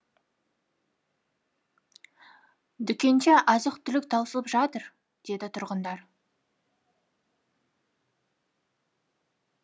дүкендерде азық түлік таусылып жатыр деді тұрғындар